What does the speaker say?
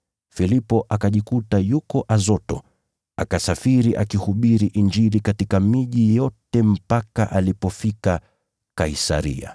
Filipo akajikuta yuko Azoto, akasafiri akihubiri Injili katika miji yote mpaka alipofika Kaisaria.